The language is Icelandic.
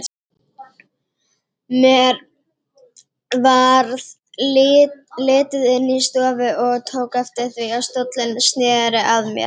Mér varð litið inn í stofu og tók eftir því að stóllinn sneri að mér.